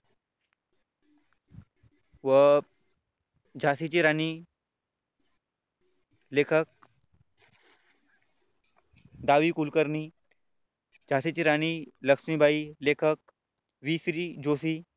व झाशीची राणी लेखक डा. वी कुलकर्णी झाशीची राणी लक्ष्मीबाई लेखक वि. क्री. जोशी,